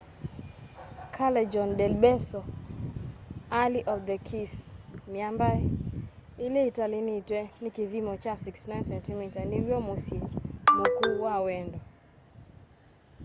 callejon del beso alley of the kĩss. mĩamba ĩlĩ ĩtĩlanĩtwe nĩ kĩthĩmo kya 69cm nĩw'o mũsyĩ mũkũũ wa wendo